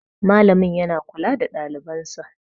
Malamin yana kula da ɗalibansa